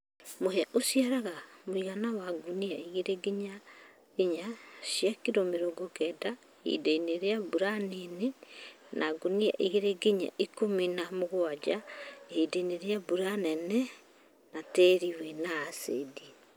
Mũhĩa ũciaraga mũigana wa ngũnia igĩrĩ nginya inya cia kilo mirongo kenda ihindainĩ rĩa mbura nini na ngunia igĩra nginya ikũmi na mũgwanja hĩndĩ ya mbura nene na tĩĩri wina acĩdi